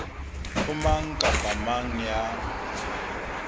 ho mang kapa mang ya